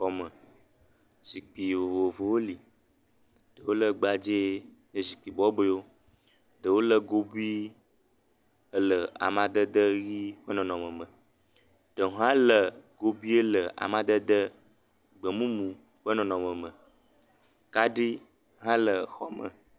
Le xɔ me, zikpui vovovowo le wole gbadzɛ nye zikpui bɔbɔewo, ɖewo le gobui ele amadede ʋi ƒe nɔnɔme me, ɖe hã le gobui le amadede gbemumu ƒe nɔnɔme me kaɖi hã la xɔ me.